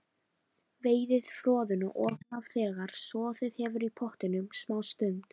Veiðið froðuna ofan af þegar soðið hefur í pottinum smástund.